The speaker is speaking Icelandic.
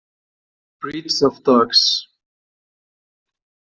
Breeds of Dogs.